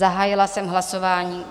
Zahájila jsem hlasování.